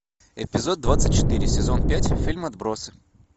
эпизод двадцать четыре сезон пять фильм отбросы